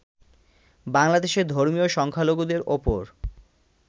বাংলাদেশে ধর্মীয় সংখ্যালঘুদের ওপর